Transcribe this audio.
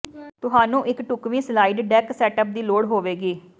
ਤੁਹਾਨੂੰ ਇੱਕ ਢੁਕਵੀਂ ਸਲਾਈਡ ਡੈਕ ਸੈੱਟਅੱਪ ਦੀ ਲੋੜ ਹੋਵੇਗੀ